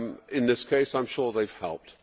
In this case I am sure they have helped.